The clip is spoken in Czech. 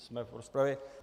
Jsme v rozpravě.